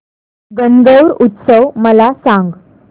गणगौर उत्सव मला सांग